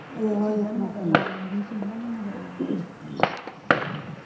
ਇਹੋ ਹੀ ਇਨ੍ਹਾ ਨੂੰ ਮਗਰ ਲਾ ਲੈਂਦੀ, ਸ਼ੀਲਾ ਨੇ ਮਗਰ ਲਾਉਣੀਆਂ